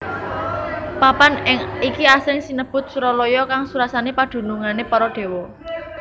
Papan iki asring sinebut Suralaya kang surasane padunungane para déwa